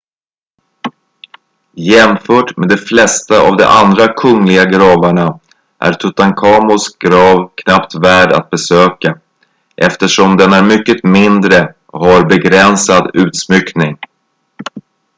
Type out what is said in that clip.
jämfört med de flesta av de andra kungliga gravarna är tutankhamons grav knappt värd att besöka eftersom den är mycket mindre och har begränsad utsmyckning